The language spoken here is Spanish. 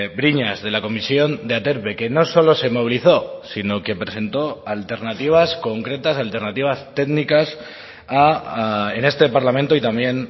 briñas de la comisión de aterpe que no solo se movilizó sino que presentó alternativas concretas alternativas técnicas en este parlamento y también